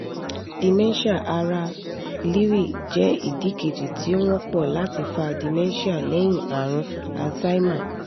dementia ara lewy jẹ́ ìdí kejì tí ó wọ́pọ̀ láti fa dementia lẹ́yìn àrùn alzheimer